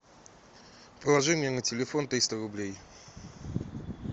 положи мне на телефон триста рублей